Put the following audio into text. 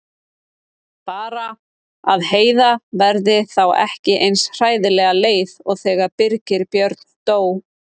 Bara að Heiða verði þá ekki eins hræðilega leið og þegar Birgir Björn dó.